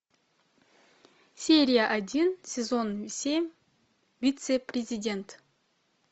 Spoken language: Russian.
серия один сезон семь вице президент